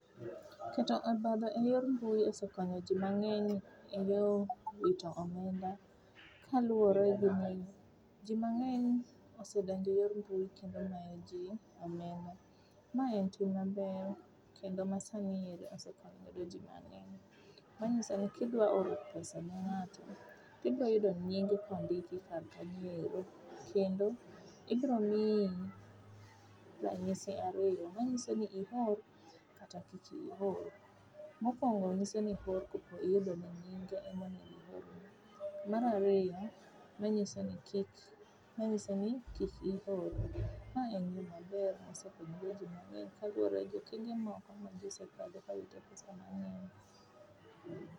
Keto obadho eyor mbui osekonyo jii mangeny eyo wito omenda kaluore gi maendi, jii mangeny osedonje yor mbui kendo mayo jii omenda. Ma en tim maber kendo masani osekonyo jii mangeny manyisoni kidwa oro pesa ne ng'ato tibiro yudo nying kondiki kar kanyoendo kendo ibro miyi ranyisi ariyo manyisoni ior kata kik ior. Mokuongo nyiso ni iyudo pok iyudo ne ngyineg en monego ior ne, mar ariyo manyiso ni kik, manyiso ni kik ior. Mae en gima ber mosekonyo go jii mangeny kaluore gi tije moko ma jii osekadhe kawito pesa mangeny